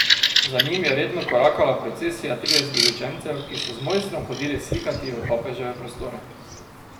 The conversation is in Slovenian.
Za njim je redno korakala procesija tridesetih učencev, ki so z mojstrom hodili slikati v papeževe prostore.